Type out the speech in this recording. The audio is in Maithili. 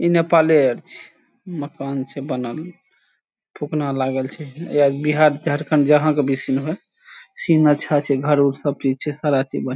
इ नपाले आर छीये मकान छै बनल फूकना लागल छै या बिहार झारखंड जहां के भी सीन हेय सीन अच्छा छै घर उर सब चीज छै सारा चीज ।